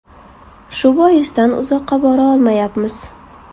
Shu boisdan uzoqqa bora olmayapmiz.